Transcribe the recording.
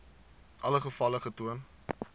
alle gevalle getoon